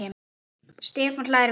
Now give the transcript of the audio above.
Stefán hlær við.